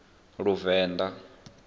luvenḓa